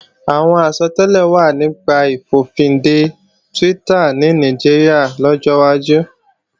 Àwọn àsọtẹ́lẹ̀ wà nípa ìfòfinde Twitter ní Nàìjíríà lọ́jọ́ wájú